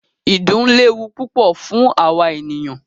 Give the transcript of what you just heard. Ìdun léwu púpọ fún àwa ènìyàn.